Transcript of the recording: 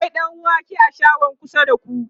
akwai ɗanwake a shagon kusa da ku?